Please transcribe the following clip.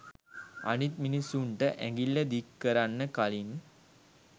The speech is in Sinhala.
අනිත් මිනිස්සුන්ට ඇඟිල්ල දික් කරන්න කළින්